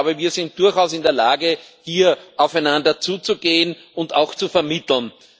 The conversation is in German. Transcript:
Ich glaube, wir sind durchaus in der Lage, hier aufeinander zuzugehen und auch zu vermitteln.